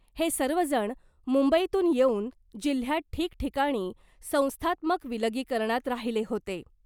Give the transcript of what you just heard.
हे सर्वजण मुंबईतून येऊन जिल्ह्यात ठिकठिकाणी संस्थात्मक विलगीकरणात राहिले होते .